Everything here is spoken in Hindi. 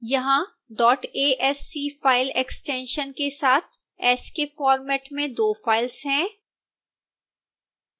यहां asc file extension के साथ ascii फॉर्मेट में दो फाइल्स हैं